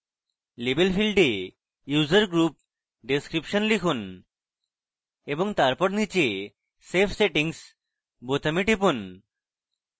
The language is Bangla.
label ফীল্ডে user group description লিখুন এবং তারপর নীচে save settings বোতামে টিপুন